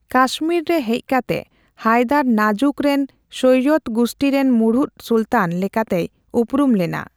ᱠᱟᱥᱢᱤᱨ ᱨᱮ ᱦᱮᱡ ᱠᱟᱛᱮ ᱦᱟᱭᱫᱟᱨ ᱱᱟᱡᱩᱠ ᱨᱮᱱ ᱥᱳᱭᱭᱚᱫᱽ ᱜᱩᱥᱴᱷᱤ ᱨᱮᱱ ᱢᱩᱲᱩᱫ ᱥᱩᱞᱛᱟᱱ ᱞᱮᱠᱟᱛᱮᱭ ᱩᱯᱨᱩᱢ ᱞᱮᱱᱟ ᱾